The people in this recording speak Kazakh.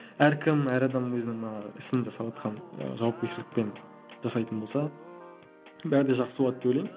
әркім әр адам өзінің мана ісін жасаватқан ы жауапкершілікпен жасайтын болса бәрі де жақсы болады деп ойлаймын